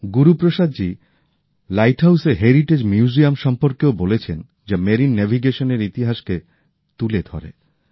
Guruprasadji light হাউসের heritage museum সম্পর্কেও বলেছেন যা স্মুদ্র যাত্রার ইতিহাসকে তুলে ধরে